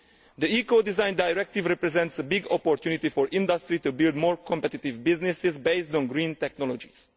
The Eco design Directive represents a big opportunity for industry to build more competitive businesses based on green technologies.